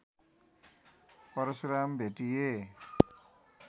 Parshuram भेटिए